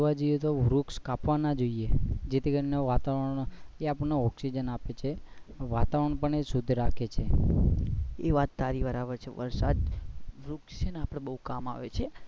આમ તો જોવા જઇયે તો વૃક્ષ કાપવા ના જોઈએ જે થી કારણે તે આપણે oxygen આપે છે વાતાવરણ પણ શુદ્ધ રાખે છે.